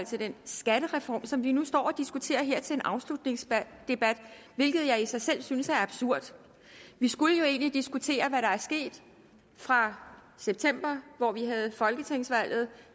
den skattereform som vi nu står og diskuterer her ved en afslutningsdebat hvilket jeg i sig selv synes er absurd vi skulle jo egentlig diskutere hvad der er sket fra september hvor vi havde folketingsvalget